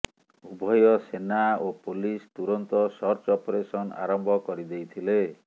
ଉଭୟ ସେନା ଓ ପୋଲିସ ତୁରନ୍ତ ସର୍ଚ୍ଚ ଅପରେସନ ଆରମ୍ଭ କରିଦେଇଥିଲେ